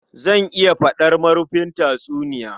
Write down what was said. Zan iya faɗar marufin tatsuniya